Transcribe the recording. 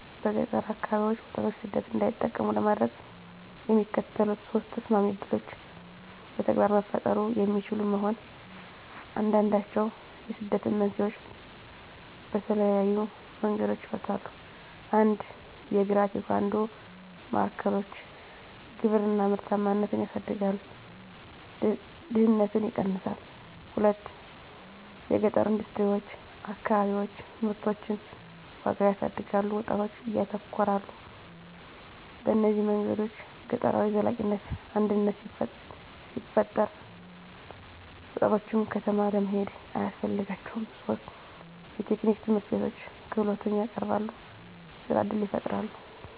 በገጠር አከባቢዎች ወጣቶች ሰደት እንዳይጠቀሙ ለማድረግ፣ የሚከተሉት ሶስት ተሰማሚ ዕድሎች በተግባር መፈጠሩ የሚችሉ መሆን፣ አንዱንድችዉ የስደትን መንስኤዎች በተለየዪ መንገዶች ይፈታል። 1 የእግራ-ቴኳንዶ ማዕከሎች _የግብርና ምርታማነትን ያሳድጋል፣ ድህነትን ይቀነሳል። 2 የገጠረ ኢንደስትሪዎች_ አከባቢዎች ምርቶችን ዋጋ ያሳድጋሉ፣ ወጣቶች ያተኮራሉ። በእነዚህ መንገዶች ገጠራዊ ዘላቂነት አድነት ሲፈጠራ፣ ወጣቶች ከተማ ለመሄድ አያስፈልጋቸውም ; 3 የቴክኒክ ትምህርትቤቶች _ክህሎትን ያቀረበሉ፣ የሥራ እድል ይፈጣራል።